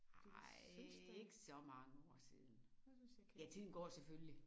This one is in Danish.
Fordi jeg synes da jeg synes jeg kendte